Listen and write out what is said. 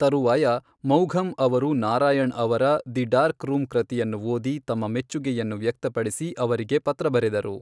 ತರುವಾಯ ಮೌಘಮ್ ಅವರು ನಾರಾಯಣ್ ಅವರ 'ದಿ ಡಾರ್ಕ್ ರೂಮ್' ಕೃತಿಯನ್ನು ಓದಿ, ತಮ್ಮ ಮೆಚ್ಚುಗೆಯನ್ನು ವ್ಯಕ್ತಪಡಿಸಿ ಅವರಿಗೆ ಪತ್ರ ಬರೆದರು.